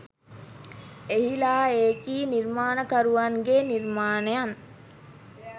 එහිලා එකී නිර්මාණකරුවන්ගේ නිර්මාණයන්